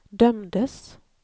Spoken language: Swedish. dömdes